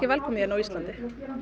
velkomið hérna á Íslandi